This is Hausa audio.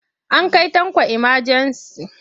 An kai Tanko imajensi.